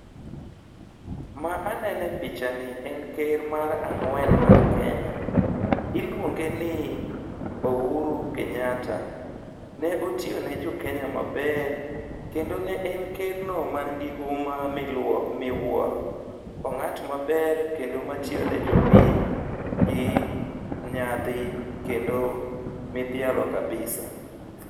Ma anene e pichani en ker mar ang'wen mar Kenya. Iluonge ni Uhuru Kenyatta. Ne otiyone jokenya maber, kendo ne en ker no man gi huma miwuoro. Ong'at maber kendo matiyone jopiny gi nyadhi kendo midhialo kabisa.